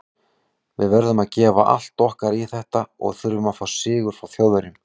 Við verðum að gefa allt okkar í þetta og þurfum að fá sigur frá Þjóðverjum.